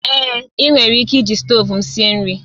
Èé, ị nwere ike iji stovu m sie nri